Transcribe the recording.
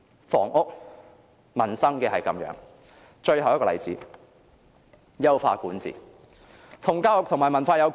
房屋、民生如是，而最後一個例子就是優化管治，而這與教育和文化亦有關。